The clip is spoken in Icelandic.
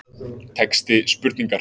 Texti spurningar